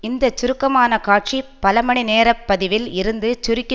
இந்த சுருக்கமான காட்சி பல மணிநேரப் பதிவில் இருந்து சுருக்கி